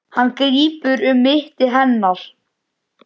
Hann grípur um mitti hennar.